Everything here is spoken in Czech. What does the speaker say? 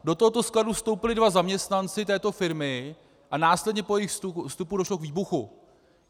Do tohoto skladu vstoupili dva zaměstnanci této firmy a následně po jejich vstupu došlo k výbuchu.